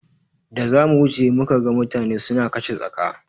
Da za mu wuce muka ga mutane suna kashe tsaka.